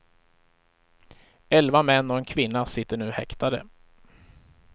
Elva män och en kvinna sitter nu häktade.